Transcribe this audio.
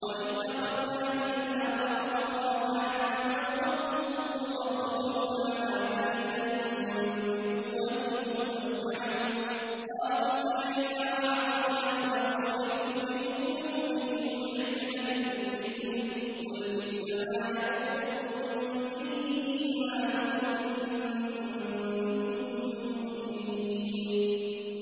وَإِذْ أَخَذْنَا مِيثَاقَكُمْ وَرَفَعْنَا فَوْقَكُمُ الطُّورَ خُذُوا مَا آتَيْنَاكُم بِقُوَّةٍ وَاسْمَعُوا ۖ قَالُوا سَمِعْنَا وَعَصَيْنَا وَأُشْرِبُوا فِي قُلُوبِهِمُ الْعِجْلَ بِكُفْرِهِمْ ۚ قُلْ بِئْسَمَا يَأْمُرُكُم بِهِ إِيمَانُكُمْ إِن كُنتُم مُّؤْمِنِينَ